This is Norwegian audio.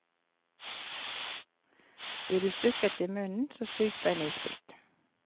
Blir du stukket i munnen, så sug på en isbit.